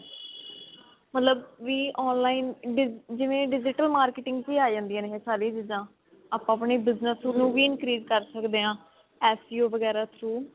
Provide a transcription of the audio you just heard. ਮਤਲਬ ਵੀ online ਜਿਵੇਂ digital marketing ਚ ਆਹ ਜਾਂਦੀਆਂ ਨੇ ਇਹ ਸਾਰੀਆਂ ਚੀਜ਼ਾਂ ਆਪਾਂ ਆਪਣੇ business ਨੂੰ ਵੀ increase ਕਰ ਸਕਦੇ ਹਾਂ